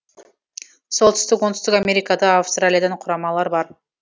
солтүстік оңтүстік америкада австралиядан құрамалар бар